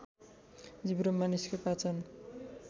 जिब्रो मानिसको पाचन